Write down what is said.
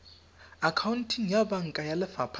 akhaonteng ya banka ya lefapha